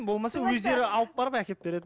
болмаса өздері алып барып әкеліп береді